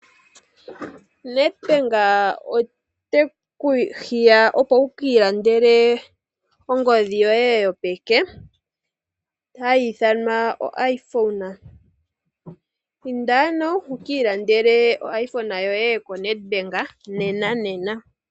Nedbank ote ku hiya opo wu ka ilandele ongodhi yoye yopeke hayi ithanwa oIPhone. Inda ano wu ka ilandele oIPhone yoye koNedbank nena nena.